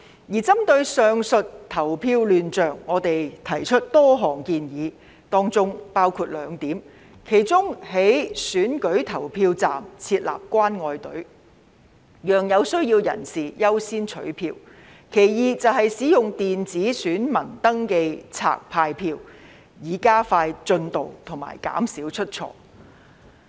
而針對上述的投票亂象，我們提出多項建議，當中包括兩點，其一是在選舉投票站設立"關愛隊"，讓有需要人士優先取票；其二是使用電子選民登記冊派票，以加快進度及減少出錯。